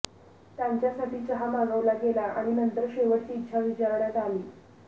त्यांच्यासाठी चहा मागवला गेला आणि नंतर शेवटची इच्छा विचारण्यात आली